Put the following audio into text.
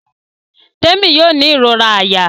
Temi yóò ní irora àyà.